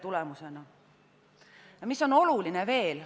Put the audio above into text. Mis on veel oluline?